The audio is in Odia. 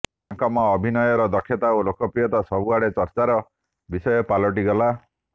ତାଙ୍କମ ଅଭିନୟର ଦକ୍ଷତା ଓ ଲୋକପ୍ରିୟତା ସବୁଆଡେ ଚର୍ଚ୍ଚାର ବିଷୟ ପାଲଟି ଗଲା